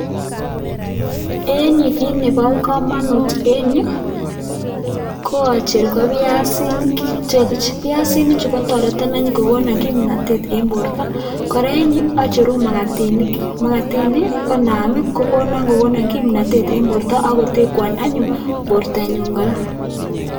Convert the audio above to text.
Eng yu kiit nebo kamanut eng yu ko acher ko piasinik chepich, piasinichu anyun kotoreto kokono kimnotet eng borto. Kora, eng yu acheru makatinik, makatinik konaam konamei kokono kimnotet eng borto ako tekwon anyun bortonyun kora.